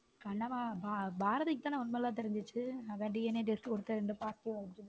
கண்ணம்மா பாரதிக்கு தான உண்மை எல்லாம் தெரிஞ்சுச்சு ஆதான் DNAtest .